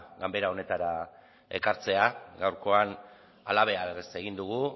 ganbara honetara ekartzea gaurkoan halabeharrez egin dugu